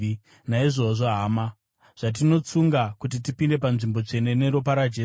Naizvozvo, hama, zvatinotsunga kuti tipinde paNzvimbo Tsvene neropa raJesu,